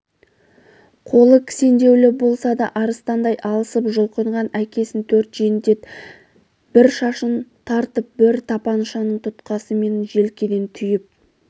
қолы кісендеулі болса да арыстандай алысып жұлқынған әкесін төрт жендет бір шашынан тартып бір тапаншаның тұтқасымен желкеден түйіп